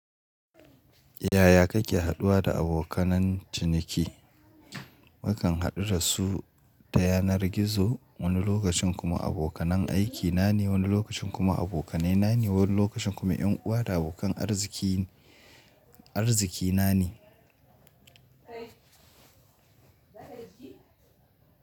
Yaya kake haɗuwa da abokanan ciniki? Wakan haɗu da su ta yanar gizo, wani lokacin kuma abokanan aiki na ne, wani lokacin kuma abokanai na ne, wani lokacin kuma ƴan uwa da abokan arziki, arziki na ne. Kai zaka yi jiki.